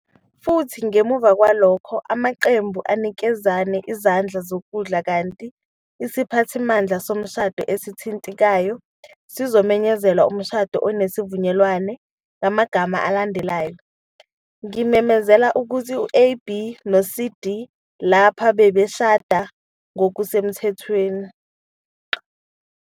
futhi ngemuva kwalokho amaqembu anikezane isandla sokudla kanti isiphathimandla somshado esithintekayo siyomemezela umshado onesivumelwano ngamagama alandelayo- "Ngimemezela ukuthi u-AB no-CD lapha babeshade ngokusemthethweni.